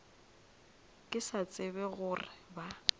ke sa tsebe gore ba